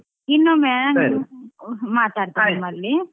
ಇನ್ನೊಮ್ಮೆ ಮಾತಾಡ್ತೆ ನಿಮ್ಮಲ್ಲಿ.